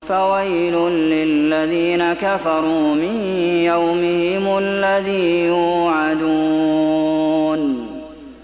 فَوَيْلٌ لِّلَّذِينَ كَفَرُوا مِن يَوْمِهِمُ الَّذِي يُوعَدُونَ